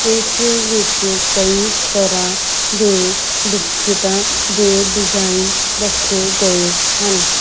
ਇਸ ਵਿਚ ਕਯੀ ਤਰ੍ਹਾਂ ਦੇ ਬਿਸਕਿਟਾ ਦੇ ਡਿਜ਼ਾਈਨ ਰੱਖੇ ਗਏ ਹਨ।